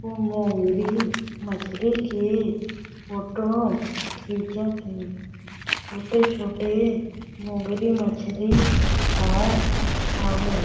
मोंगरी मछरी के के फोटो खींचथे छोटे-छोटे मोंगरी मछरी अउर हावे।